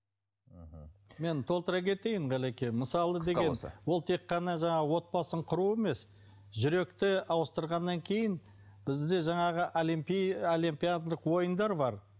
мен толтыра кетейін ғалеке мысалы деген ол тек қана жаңағы отбасын құру емес жүректі ауыстырғаннан кейін бізде жаңағы олимпиадалық ойындар бар